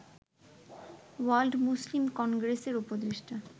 world Muslim কংগ্রেসের উপদেষ্টা